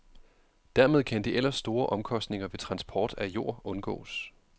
Dermed kan de ellers store omkostninger ved transport af jord undgås.